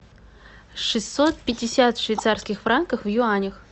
шестьсот пятьдесят швейцарских франков в юанях